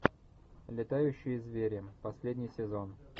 летающие звери последний сезон